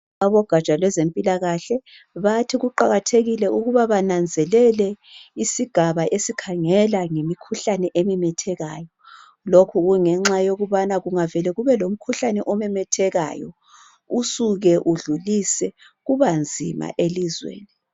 Abogatsha lwezempilakahle, bathi kuqakathekile ukuba bananzelele isigaba esikhangela ngemikhuhlane ememthekayo, lokhu kungenxa yokubana kungavele kube lomkhuhlane omemethekayo usuke udlulise kuba nzima elizweni.